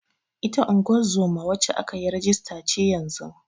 Ita ungozoma wacce aka yi rajista ce yanzun.